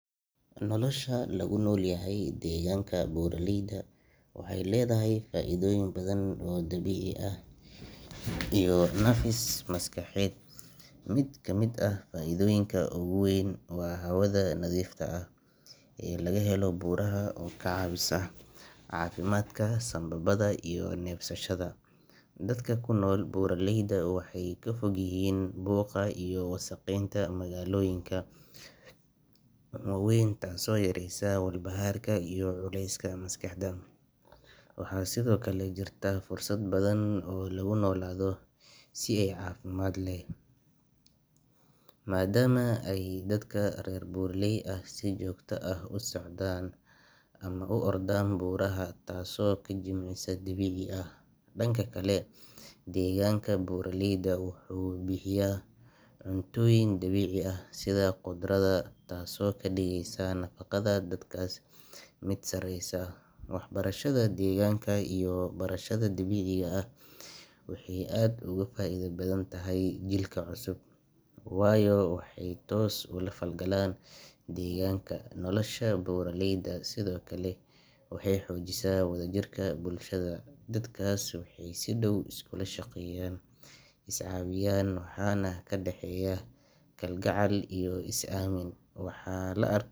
Nolosha lagu noolyahay degaanka buraleyda waxay leedahay faa’iidooyin badan oo dabiici ah iyo nafis maskaxeed. Mid ka mid ah faa’iidooyinka ugu weyn waa hawada nadiifta ah ee laga helo buuraha oo ka caawisa caafimaadka sambabada iyo neefsashada. Dadka ku nool buraleyda waxay ka fog yihiin buuqa iyo wasakheynta magaalooyinka waaweyn taasoo yaraysa walbahaarka iyo culeyska maskaxda. Waxaa sidoo kale jirta fursad badan oo loogu noolaado si caafimaad leh, maadaama ay dadka reer buraley ahi si joogto ah u socdaan ama u ordaan buuraha, taas oo ah jimicsi dabiici ah. Dhanka kale, deegaanka buraleyda wuxuu bixiyaa cuntooyin dabiici ah sida khudradda, caanaha xoolaha, iyo hilibka dabiiciga ah taasoo ka dhigaysa nafaqada dadkaas mid sareysa. Waxbarashada deegaanka iyo barashada dabiiciga waxay aad uga faa’iido badan tahay jiilka cusub, waayo waxay toos ula falgalaan deegaanka. Nolosha buraleyda sidoo kale waxay xoojisaa wadajirka bulshada, dadkaas waxay si dhow iskula shaqeeyaan, is caawiyaan, waxaana ka dhaxeeya kalgacal iyo is aamin. Waxaa la ar.